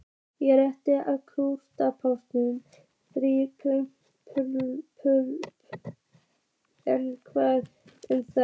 Ég hélt að grjúpán þýddi pulsa en hvað um það?